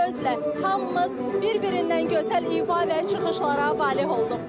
Bir sözlə, hamımız bir-birindən gözəl ifa və çıxışlara valeh olduq.